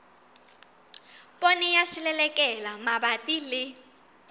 poone ya selelekela mabapi le